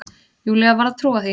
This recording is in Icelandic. Júlía varð að trúa því.